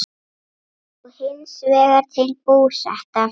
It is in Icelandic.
og hins vegar til Búseta.